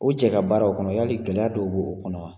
O jɛka baara o kɔnɔ yali gɛlɛya dɔw b'o kɔnɔ wa?